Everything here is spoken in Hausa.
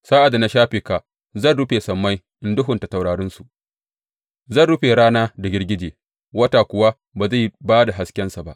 Sa’ad da na shafe ka, zan rufe sammai in duhunta taurarinsu; zan rufe rana da girgije, wata kuwa ba zai ba da haskensa ba.